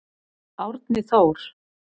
Árni Þór.